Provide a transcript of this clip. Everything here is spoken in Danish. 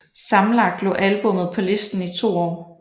Sammenlagt lå albummet på listen i to år